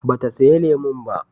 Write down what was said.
Ba ta saya lemun ba